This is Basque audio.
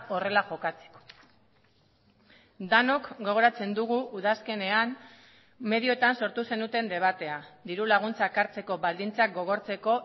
horrela jokatzeko denok gogoratzen dugu udazkenean medioetan sortu zenuten debatea dirulaguntzak hartzeko baldintzak gogortzeko